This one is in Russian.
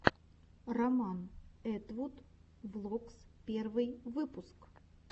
роман этвуд влогс первый выпуск